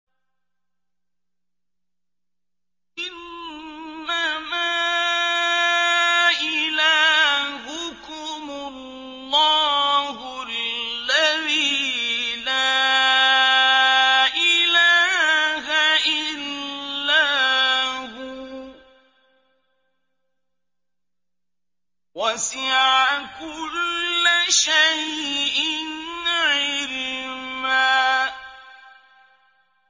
إِنَّمَا إِلَٰهُكُمُ اللَّهُ الَّذِي لَا إِلَٰهَ إِلَّا هُوَ ۚ وَسِعَ كُلَّ شَيْءٍ عِلْمًا